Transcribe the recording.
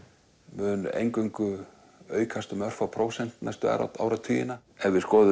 mun eingöngu aukast um örfá prósent næstu áratugina ef við skoðum